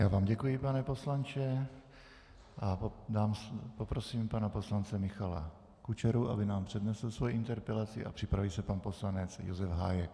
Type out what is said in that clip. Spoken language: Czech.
Já vám děkuji, pane poslanče, a poprosím pana poslance Michala Kučeru, aby nám přednesl svoji interpelaci, a připraví se pan poslanec Josef Hájek.